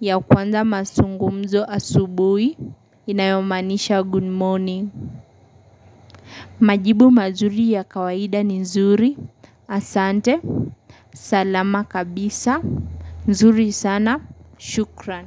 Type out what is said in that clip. ya kuanza mazungumzo asubuhi inayomaanisha good morning. Majibu mazuri ya kawaida ni nzuri, asante salama kabisa, nzuri sana, shukran.